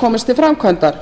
komist til framkvæmda